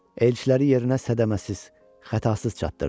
Elçiləri yerinə zədəməsiz, xətasız çatdırdım.